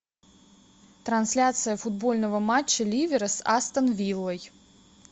трансляция футбольного матча ливера с астон виллой